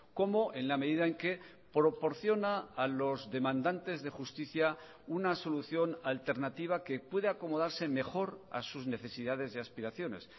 como en la medida en que proporciona a los demandantes de justicia una solución alternativa que puede acomodarse mejor a sus necesidades y aspiraciones